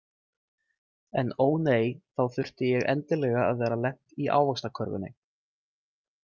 En ó nei, þá þurfti ég endilega að vera lent í ávaxtakörfunni.